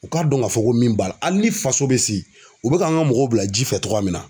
U k'a dɔn k'a fɔ ko min b'a la hali ni faso bɛ sigi u bɛ kan ka mɔgɔw bila ji fɛ cogoya min na